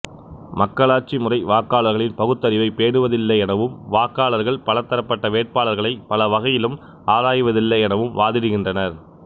மக்களாட்சி முறை வாக்காளர்களின் பகுத்தறிவை பேணுவதில்லை எனவும் வாக்காளர்கள் பலதரப்பட்ட வேட்பாளர்களை பல வகையிலும் ஆராய்வதில்லை எனவும் வாதிடுகின்றனர்